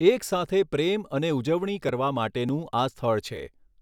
એકસાથે પ્રેમ અને ઉજવણી કરવા માટેનું આ સ્થળ છે.